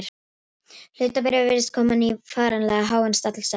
Hlutabréf virðast komin á varanlega háan stall sagði hann þá.